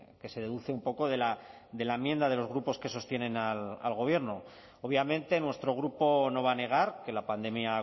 que se deduce un poco de la enmienda de los grupos que sostienen al gobierno obviamente nuestro grupo no va a negar que la pandemia ha